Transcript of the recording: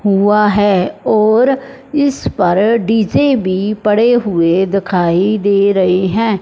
हुआ है और इस पर डी_जे भी पड़े हुए दिखाई दे रहे हैं।